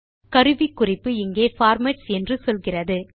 கருவிக்குறிப்பு இங்கே பார்மேட்ஸ் என்று சொல்கிறது